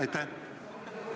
Aitäh!